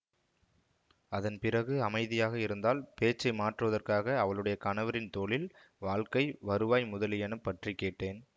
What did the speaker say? அதன் பிறகு அமைதியாக இருந்தாள் பேச்சை மாற்றுவதற்காக அவளுடைய கணவரின் தொழில் வாழ்க்கை வருவாய் முதலியன பற்றி கேட்டேன்